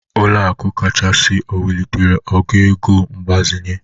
Ụlọaku kachasị o welitere ogo ego mgbazinye?